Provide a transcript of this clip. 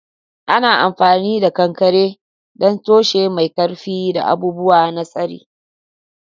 Ana amfani da kankare don tushe mai ƙarfi da abubuwa na tsari.